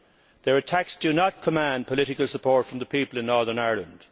Their attacks do not command political support from the people of Northern Ireland.